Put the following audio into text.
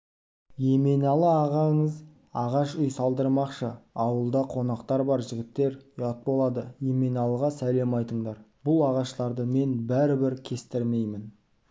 еменалы ағаңыз ағаш үй салдырмақшы ауылда қонақтар бар жігіттер ұят болады еменалыға сәлем айтыңдар бұл ағаштарды мен бәрібір кестірмеймін